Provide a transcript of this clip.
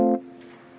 Austatud härra esimees!